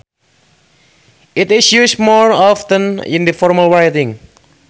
It is used more often in formal writing